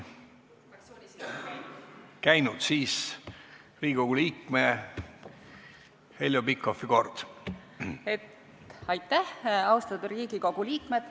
Austatud Riigikogu liikmed!